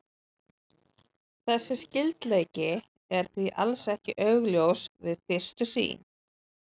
Þessi skyldleiki er því alls ekki augljós við fyrstu sýn.